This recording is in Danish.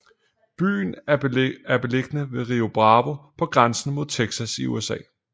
Byen er beliggende ved Río Bravo på grænsen mod Texas i USA